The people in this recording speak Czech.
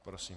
Prosím.